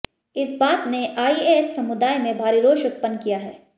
इस बात ने आईएएस समुदाय में भारी रोष उत्पन्न किया है